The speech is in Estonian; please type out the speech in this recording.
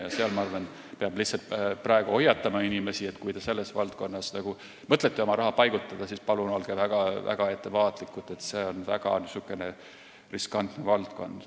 Ma arvan, et praegu peab lihtsalt inimesi hoiatama, et kui te mõtlete sinna oma raha paigutada, siis olge väga ettevaatlikud, sest see on väga riskantne valdkond.